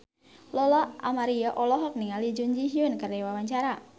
Lola Amaria olohok ningali Jun Ji Hyun keur diwawancara